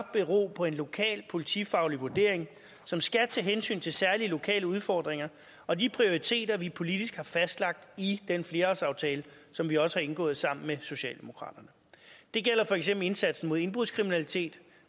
bero på en lokal politifaglig vurdering som skal tage hensyn til særlige lokale udfordringer og de prioriteter vi politisk har fastlagt i den flerårsaftale som vi også har indgået sammen med socialdemokraterne det gælder for eksempel indsatsen mod indbrudskriminalitet